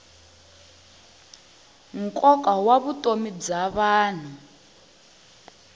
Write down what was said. nkoka wa vutomi bya vanhu